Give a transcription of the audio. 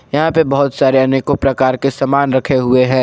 यहां पे बहुत सारे अनेको प्रकार के सामान रखे हुए हैं।